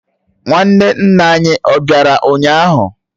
Nwanne nna anyi ó bịara ụnyaahụ?